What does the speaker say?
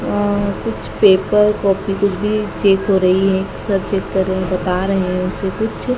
अह कुछ paper copy कुछ भी चेक हो रही है सर चेक कर रहे बता रहे हैं उसे कुछ।